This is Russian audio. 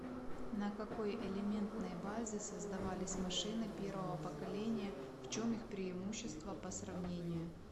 на какой элементной базе создавались машины первого поколения в чем их преимущества по сравнению